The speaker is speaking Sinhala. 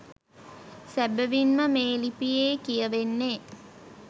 සැබැවින්ම මේ ලිපියේ කියවෙන්නේ